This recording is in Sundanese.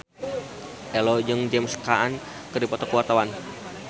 Ello jeung James Caan keur dipoto ku wartawan